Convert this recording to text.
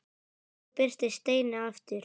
Svo birtist Steini aftur.